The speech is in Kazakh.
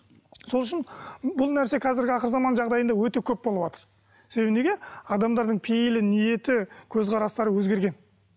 сол үшін бұл нәрсе қазіргі ақырғы заман жағдайында өтек көп болыватыр себебі неге адамдардың пейілі ниеті көзқарастары өзгерген